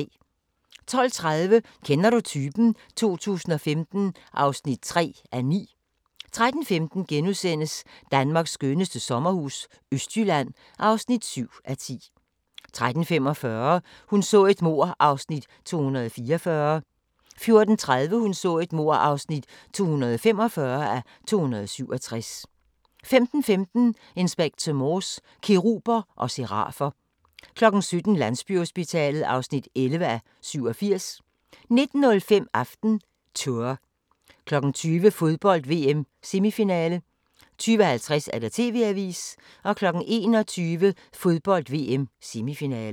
12:30: Kender du typen? 2015 (3:9) 13:15: Danmarks skønneste sommerhus – Østjylland (7:10)* 13:45: Hun så et mord (244:267) 14:30: Hun så et mord (245:267) 15:15: Inspector Morse: Keruber og serafer 17:00: Landsbyhospitalet (11:87) 19:05: AftenTour 20:00: Fodbold: VM - semifinale 20:50: TV-avisen 21:00: Fodbold: VM - semifinale